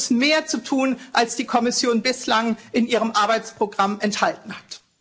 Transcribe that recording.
Hier ist mehr zu tun, als die Kommission bislang in ihrem Arbeitsprogramm enthalten hat.